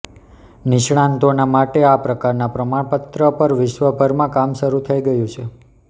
નિષ્ણાંતોના માટે આ પ્રકારનાં પ્રમાણપત્ર પર વિશ્વભરમાં કામ શરૂ થઈ ગયું છે